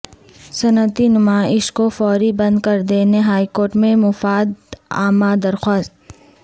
صنعتی نمائش کو فوری بند کردینے ہائیکورٹ میں مفاد عامہ درخواست